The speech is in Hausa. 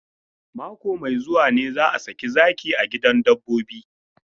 Mako mai zuwa ne za a saki zaki a gidan dabbobi.